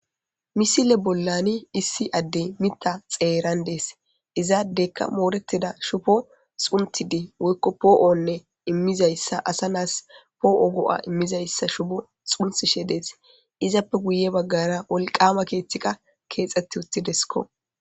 Misile bolani issi adey mita xeran dees iza adeyka moretiza shubo xuntidi woyko po'one imizayssa asa na'as po'o go'a imizayssa shubo xuntishe dees izappe guye bagara wolqama kethika kexeti utidesko.